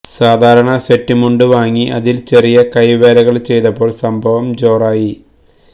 സാധാരണ സെറ്റ് മുണ്ട് വാങ്ങി അതിൽ ചെറിയ കൈവേലകൾ ചെയ്തപ്പോൾ സംഭവം ജോറായി